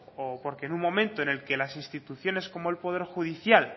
o porque en un momento en el que las instituciones como el poder judicial